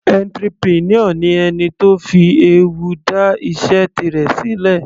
Entrepreneur ni ẹni tó fi ewu dá iṣẹ́ tirẹ̀ sílẹ̀.